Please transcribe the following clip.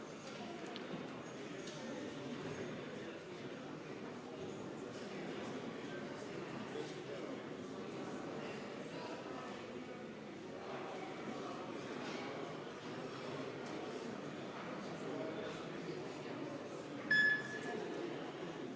Hääletustulemused